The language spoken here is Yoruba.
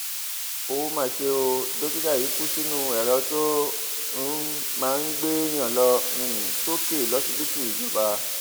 ó mà ṣe ó dókítà yìí kú sínú èrò tó um máa ń gbèèyàn lọ um sókè lọsibítù ìjọba